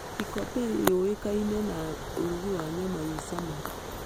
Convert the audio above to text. Kikopey yũĩkaine na urũgi wa nyama ĩ cama